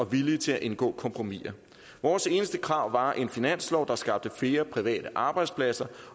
villige til at indgå kompromiser vores eneste krav var en finanslovsaftale private arbejdspladser